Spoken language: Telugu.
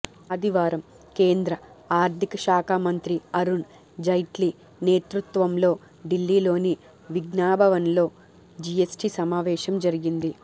ఆదివారం కేంద్ర ఆర్థిక శాఖ మంత్రి అరుణ్ జైట్లీ నేతృత్వంలో ఢిల్లీలోని విజ్ఞాన్భవన్లో జిఎస్టి సమావేశం జరిగింది